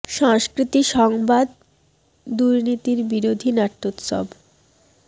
স ং স্কৃ তি স ং বা দ দুর্নীতিবিরোধী নাট্যোৎসব